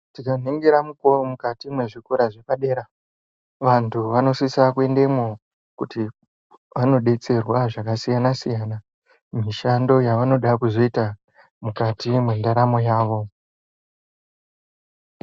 Tikaningira mukati mwezvikora zvepadera vanhu vanosisa kuendemwo kuti vanodetserwa zvakasiyanasiyana mumishando yavanoda kuzoita mukati mwendaramo yavo.